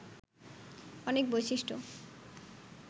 অনেক বৈশিষ্ট্য